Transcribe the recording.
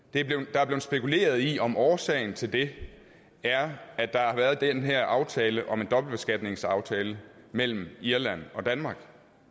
der er blevet spekuleret i om årsagen til det er at der har været den her aftale om en dobbeltbeskatningsaftale mellem irland og danmark